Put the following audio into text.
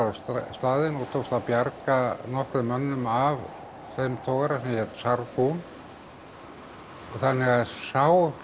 staðinn og tókst að bjarga nokkrum mönnum af þeim togara sem hét Sargon þannig að sá